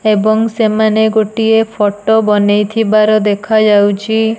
ଏବଂ ସେମାନେ ଗୋଟିଏ ଫଟ ବନେଇ ଥିବାର ଦେଖାଯାଉଚି।